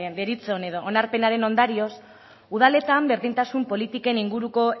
deritzon edo onarpenaren ondorioz udaletan berdintasun politiken inguruko